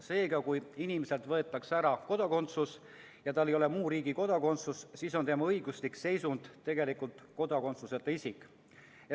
Seega, kui inimeselt võetakse kodakondsus ära ja tal ei ole muu riigi kodakondsust, siis on tema õiguslik seisund tegelikult kodakondsuseta isik.